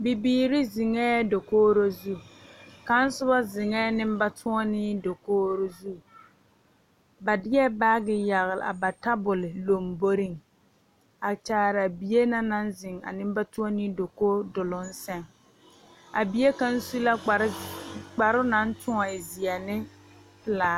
Bibiiri zeŋɛɛ dankogri zu, kaŋa soba zeŋɛɛ nembatoɔne dankogri zu, ba deɛ baaki a yagle ba tabol lombori, a kyaare bie naŋ zeŋ a nembatoɔne dankogi doloŋ zɛŋ, a bie kaŋa su la kpare naŋ toɔne e zeɛ ne pelaa